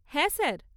হ্যাঁ স্যার।